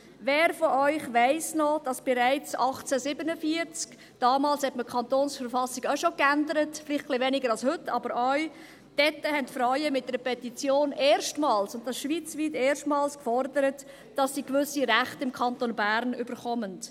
Wer von Ihnen weiss, dass bereits 1847 – damals hatte man die Verfassung des Kantons (KV) auch schon geändert, vielleicht ein bisschen weniger als heute – Frauen mit einer Petition und zwar schweizweit erstmals, forderten, dass sie im Kanton Bern gewisse Rechte erhalten?